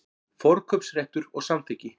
Forkaupsréttur og samþykki.